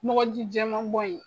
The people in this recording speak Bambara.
Mɔgɔ ji jɛman bɔ in